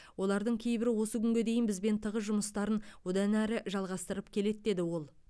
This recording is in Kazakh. олардың кейбірі осы күнге дейін бізбен тығыз жұмыстарын одан әрі жалғастырып келеді деді ол